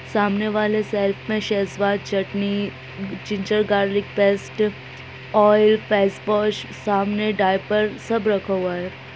सामने वाले सेल्फ में शेजवान चटनी ginger garlic paste oil face wash सामने डायपर सब रखा हुआ है।